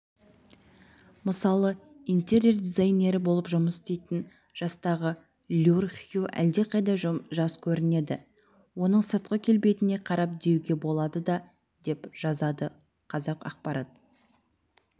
мысалы интерьер дизайнері болып жұмыс істейтін жастағы люр хью әлдеқайда жас көрінеді оның сыртқы келбетіне қарап деуге болады деп жазады қазақпарат